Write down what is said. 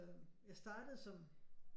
Jeg startede som